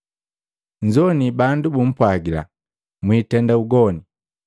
“Nnzoini bandu bumpwagila, ‘Mwitenda ugoni!’